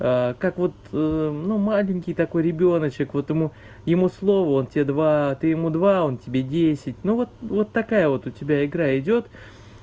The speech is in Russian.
как вот ну маленький такой ребёночек вот ему слово он все два ты ему два он тебе десять ну вот вот такая вот у тебя игра идёт